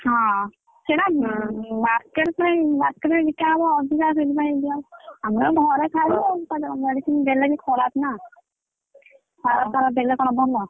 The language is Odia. ହଁ ସେଇଟା market ପାଇଁ market ପାଇଁ ବିକା ହବ ଅଧିକା ସେଇଥିପାଇଁ ଦିଆ ହଉଛି ଆମର ଘରେ ଖାଇବୁ medicine ଦେଲେ ବି ଖରାପ ନା ସାର ଫାର ଦେଲେ କଣ ଭଲ?